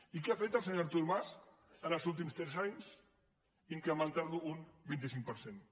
i què ha fet el senyor artur mas els últims tres anys incrementar lo un vint cinc per cent